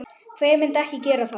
Hver myndi ekki gera það?